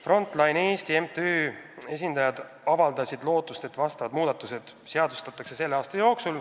Front Line Eesti MTÜ esindajad avaldasid lootust, et muudatused seadustatakse selle aasta jooksul.